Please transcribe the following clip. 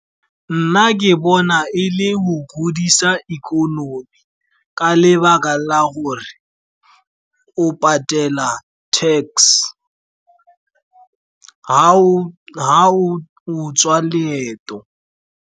Nna ke bona e le go godisa ikonomi, ka lebaka la gore o patela tax ga o tswa leeto.